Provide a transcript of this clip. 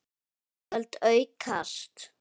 Útgjöld aukast!